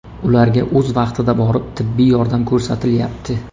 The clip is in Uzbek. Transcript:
Ularga o‘z vaqtida borib tibbiy yordam ko‘rsatilyapti.